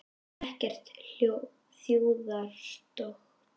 Ekkert þjóðarstolt?